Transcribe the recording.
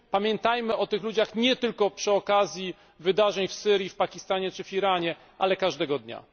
Pamiętajmy o tych ludziach nie tylko przy okazji wydarzeń w Syrii, w Pakistanie czy w Iranie, ale każdego dnia.